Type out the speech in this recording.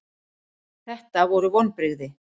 Þetta voru vonbrigði.